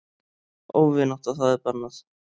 Óvinátta það er bannað.